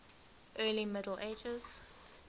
early middle ages